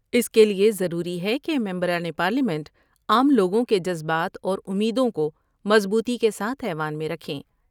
اس کے لئے ضروری ہے کہ ممبران پارلیمنٹ عام لوگوں کے جذبات اور امیدوں کو مضبوطی کے ساتھ ایوان میں رکھیں ۔